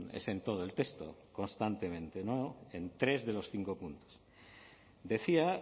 es en todo el texto constantemente en tres de los cinco puntos decía